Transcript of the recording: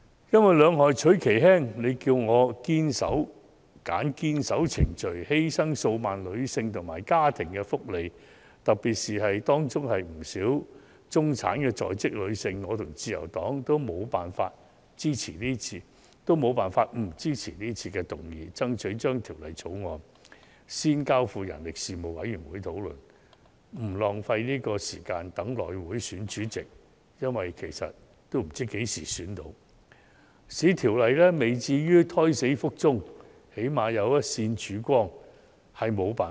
如果要"兩害取其輕"——選擇堅守程序，還是犧牲數萬名女性和家庭的福利，特別是當中不少婦女是在職中產人士——我和自由黨均沒有辦法不支持這項議案，爭取將《條例草案》先交付事務委員會討論，以免浪費時間等候內務委員會選出主席——說實話，大家皆不知道何時才能選出主席——避免《條例草案》"胎死腹中"，最少有一線曙光。